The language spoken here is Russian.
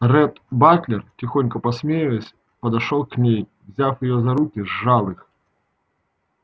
ретт батлер тихонько посмеиваясь подошёл к ней и взяв её за руки сжал их